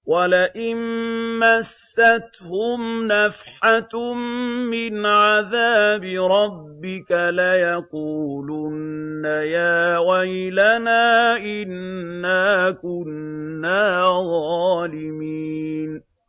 وَلَئِن مَّسَّتْهُمْ نَفْحَةٌ مِّنْ عَذَابِ رَبِّكَ لَيَقُولُنَّ يَا وَيْلَنَا إِنَّا كُنَّا ظَالِمِينَ